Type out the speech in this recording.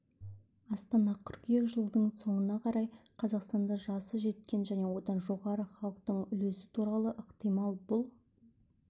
астана қыркүйек жылдың соңына қарай қазақстанда жасы жеткен және одан жоғары халықтың үлесі құрауы ықтимал бұл